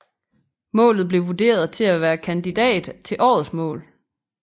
Målet blev vurderet til at være kandidat til årets mål